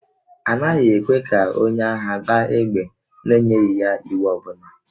A naghị ekwe ka onye agha gbaa égbè n'enyeghị ya iwu ọ bụla